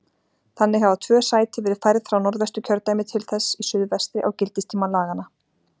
Þannig hafa tvö sæti verið færð frá Norðvesturkjördæmi til þess í suðvestri á gildistíma laganna.